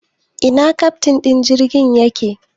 Ina keftin din jirgin yake?